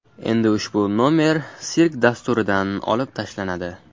Endi ushbu nomer sirk dasturidan olib tashlanadi .